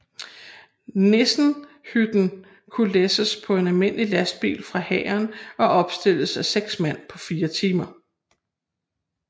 Nissenhytten kunne læsses på en almindelig lastbil fra hæren og opstilles af seks mand på fire timer